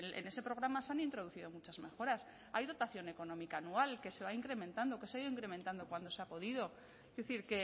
en ese programa se han introducido muchas mejoras hay dotación económica anual que se va incrementando que se ha ido incrementando cuando se ha podido es decir